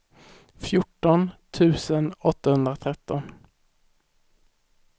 fjorton tusen åttahundratretton